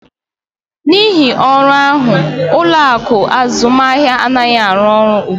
N'ihi ọrụ ahụ, ụlọ akụ azụmahịa anaghị arụ ọrụ ugbu a